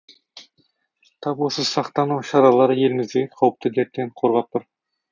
тап осы сақтану шаралары елімізді қауіпті дерттен қорғап тұр